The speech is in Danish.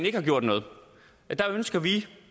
ikke gjort noget der ønsker vi